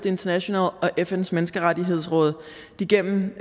international og fns menneskerettighedsråd igennem